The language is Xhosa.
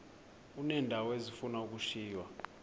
uneendawo ezifuna ukushiywa